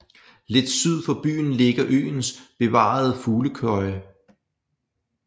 Lidt syd for byen ligger øens bevarede fuglekøje